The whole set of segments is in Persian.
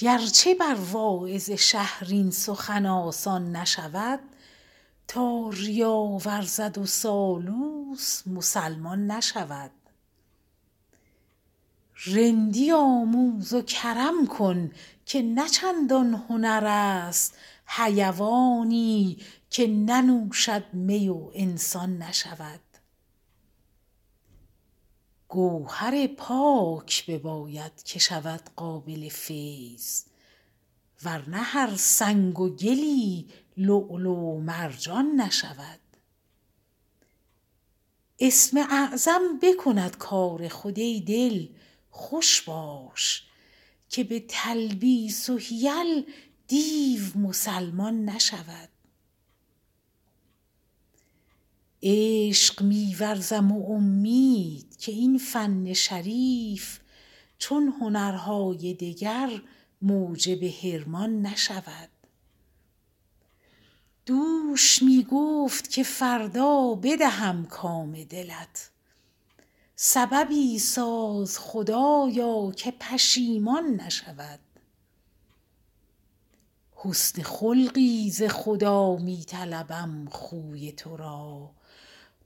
گر چه بر واعظ شهر این سخن آسان نشود تا ریا ورزد و سالوس مسلمان نشود رندی آموز و کرم کن که نه چندان هنر است حیوانی که ننوشد می و انسان نشود گوهر پاک بباید که شود قابل فیض ور نه هر سنگ و گلی لؤلؤ و مرجان نشود اسم اعظم بکند کار خود ای دل خوش باش که به تلبیس و حیل دیو مسلمان نشود عشق می ورزم و امید که این فن شریف چون هنرهای دگر موجب حرمان نشود دوش می گفت که فردا بدهم کام دلت سببی ساز خدایا که پشیمان نشود حسن خلقی ز خدا می طلبم خوی تو را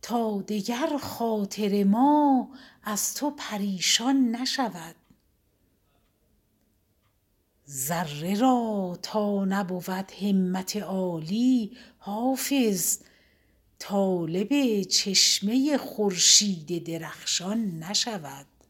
تا دگر خاطر ما از تو پریشان نشود ذره را تا نبود همت عالی حافظ طالب چشمه خورشید درخشان نشود